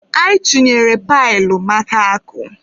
I chunyere pailu maka akụ?